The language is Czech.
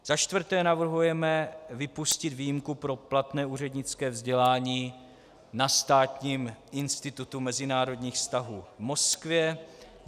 Za čtvrté navrhujeme vypustit výjimku pro platné úřednické vzdělání na Státním institutu mezinárodních vztahů v Moskvě.